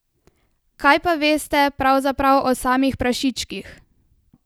Kaj pa veste pravzaprav o samih prašičkih?